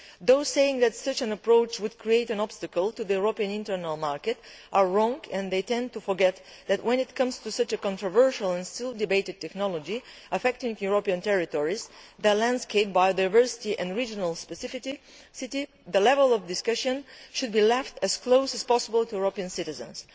Those saying that such an approach would create an obstacle to the European internal market are wrong, and they tend to forget that, when it comes to such a controversial and still debated technology, affecting European territories, the landscape, biodiversity and regional specificity, the level of discussion should be left as close as possible to European citizens.